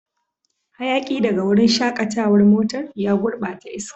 Hayaki daga wurin shakatawar motar ya gurbata iska.